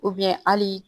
hali